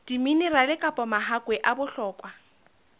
diminerale kapa mahakwe a bohlokwa